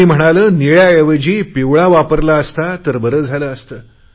कुणी म्हणाले निळयाऐवजी पिवळा वापरला असता तर बरे झाले असते